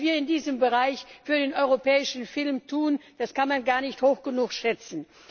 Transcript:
Was wir in diesem Bereich für den europäischen Film tun, das kann man gar nicht hoch genug schätzen.